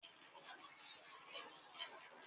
Ṣé o má a lo mòríńgà ní ọ̀la?